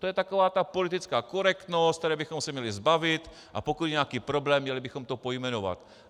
To je taková ta politická korektnost, které bychom se měli zbavit, a pokud je nějaký problém, měli bychom to pojmenovat.